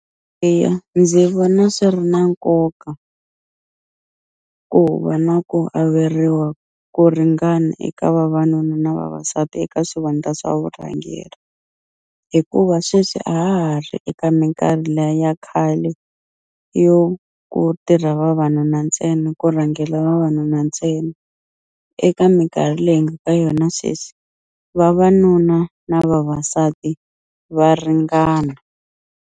Eya ndzi vona swi ri na nkoka ku va na ku averiwa ku ringana eka vavanuna na vavasati eka swivandla swa vurhangeri hikuva sweswi a ha ha ri eka minkarhi liya ya khale yo ku tirha vavanuna ntsena ku rhangela vavanuna ntsena eka minkarhi leyi hi nga ka yona sweswi vavanuna na vavasati va ringana.